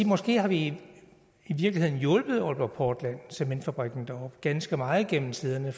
måske har vi i virkeligheden hjulpet aalborg portland og cementfabrikken deroppe ganske meget igennem tiderne